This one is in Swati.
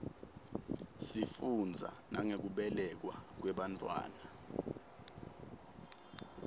sifundza nangekubelekwa kwebantfwana